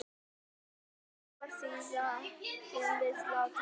Berst gegn trúarsiðum við slátrun dýra